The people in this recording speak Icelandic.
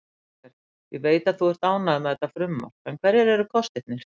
Kristófer, ég veit að þú ert ánægður með þetta frumvarp en hverjir eru kostirnir?